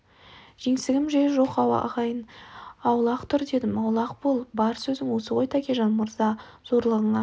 жеңсігім де жоқ ағайын аулақ тұр дедім аулақ бол бар сөзің осы ғой тәкежан мырза зорлығыңа